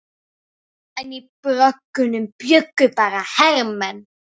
En í bröggunum bjuggu bara hermenn.